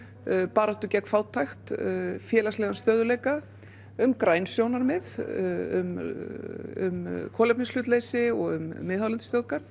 baráttu gegn fátækt félagslegan stöðugleika um græn sjónarmið um kolefnishlutleysi og um miðhálendisþjóðgarð